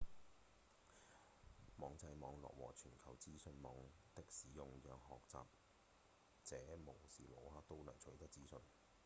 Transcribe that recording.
網際網路和全球資訊網的使用讓學習者無時無刻都能取得資訊